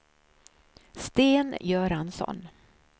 Sten Göransson